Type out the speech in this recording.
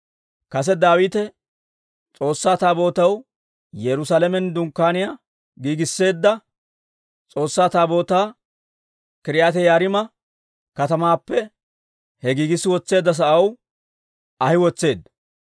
Kase Daawite S'oossaa Taabootaw Yerusaalamen dunkkaaniyaa giigiseedda, S'oossaa Taabootaa K'iriyaati-Yi'aariima katamaappe he giigissi wotseedda sa'aw ahi wotseedda.